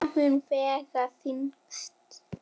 Hvað mun vega þyngst?